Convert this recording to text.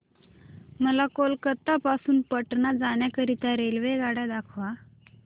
मला कोलकता पासून पटणा जाण्या करीता रेल्वेगाड्या दाखवा